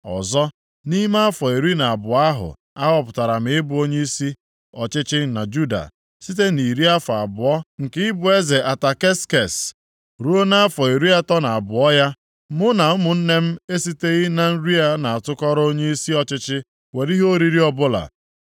Ọzọ, nʼime afọ iri na abụọ ahụ a họpụtara m ị bụ onyeisi ọchịchị na Juda, site nʼiri afọ abụọ nke ịbụ eze Ataksekses ruo nʼafọ iri atọ na abụọ ya, mụ na ụmụnne m esiteghị na nri a na-atụkọrọ onyeisi ọchịchị were ihe oriri ọbụla.